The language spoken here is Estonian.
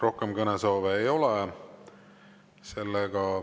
Rohkem kõnesoove ei ole.